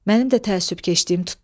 Mənim də təəssübkeşliyim tutdu.